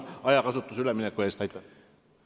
Palun vabandust, et ma ettenähtud ajast üle läksin!